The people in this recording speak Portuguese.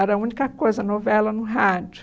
Era a única coisa novela no rádio.